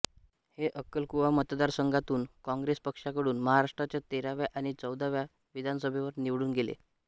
हे अक्कलकुवा मतदारसंघातून काँग्रेस पक्षाकडून महाराष्ट्राच्या तेराव्या आणि चौदाव्या विधानसभेवर निवडून गेले